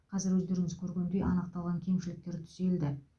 қазір өздеріңіз көргендей анықталған кемшіліктер түзелді